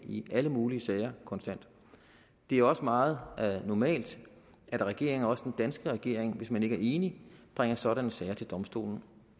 i alle mulige sager konstant det er også meget normalt at regeringer også den danske regering hvis man ikke er enig bringer sådanne sager til domstolen